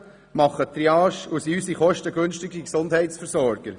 Sie machen die Triage und sind unsere kostengünstigsten Gesundheitsversorger.